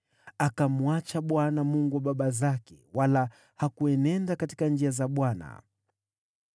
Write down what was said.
Akamwacha Bwana , Mungu wa baba zake, wala hakuenenda katika njia za Bwana .